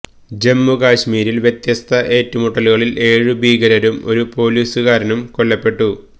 ജമ്മു കശ്മീരില് വ്യത്യസ്ത ഏറ്റുമുട്ടലുകളില് ഏഴു ഭീകരരും ഒരു പോലീസുകാരനും കൊല്ലപ്പെട്ടു